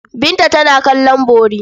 Binta tana kallon bori.